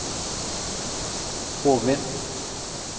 Hovin